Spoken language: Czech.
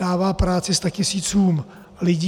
Dává práci statisícům lidí.